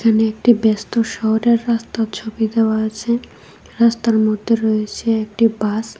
এখানে একটি ব্যস্ত শহরের রাস্তার ছবি দেওয়া আছে রাস্তার মধ্যে রয়েছে একটি বাস ।